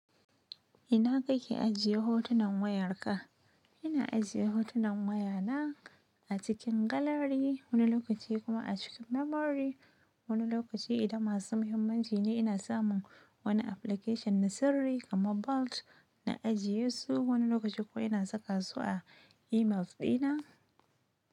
Ina kake ajiye hotunan wayarka? Ina ajiye hotunan wayana a cikin gallery wani lokaci kuma a cikin memory. Wani lokaci idan masu muhimmanci ne ina samun wani application na sirri kamar vault na ajiye su. Wani lokaci kuwa ina saka su a email ɗina.